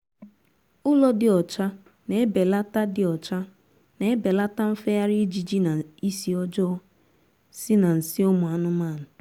ụlọ dị ocha na-ebelata dị ocha na-ebelata nfegharị ijiji na isi ọjọọ si na nsị ụmụ anụmanụ